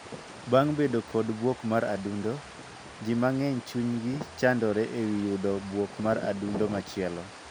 Bang' bedo kod buok mar adundo, jii mang'eny chunygi chandore e wii yudo buok mar adundo machielo.